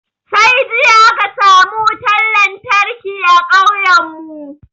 Sai jiya aka samu wutan lantarki a kauyen mu